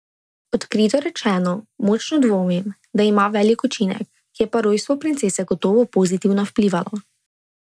Odkrito rečeno, močno dvomim, da ima velik učinek, je pa rojstvo princese gotovo pozitivno vplivalo.